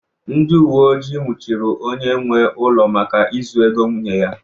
Ndị uwe ojii nwụchiri onye nwe ụlọ maka izu ego nwunye ya